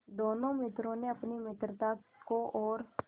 दोनों मित्रों ने अपनी मित्रता को और